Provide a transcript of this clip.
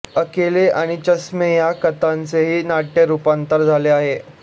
अकेली आणि चष्मे या कथांचेही नाट्यरूपांतर झाले आहे